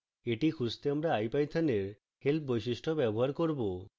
এটি খুঁজতে আমরা ipython we help বৈশিষ্ট্য ব্যবহার করব